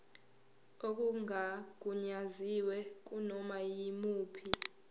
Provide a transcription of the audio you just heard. okungagunyaziwe kunoma yimuphi